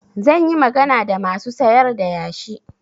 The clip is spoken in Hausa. Zan yi magana da masu sayar da yashi.